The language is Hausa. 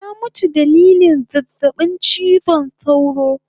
Ta mutu dalilin zazzabin chizon sauro